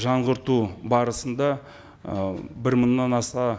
жаңғырту барысында ы бір мыңнан аса